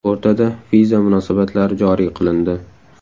O‘rtada viza munosabatlari joriy qilindi.